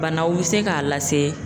Banaw be se ka lase